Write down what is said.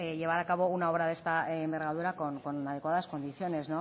llevar a cabo una obra de esta envergadura con adecuadas condiciones